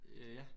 Øh ja